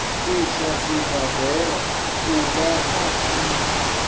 iswa sibadela uvha a tsengo